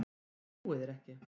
Ég trúi þér ekki!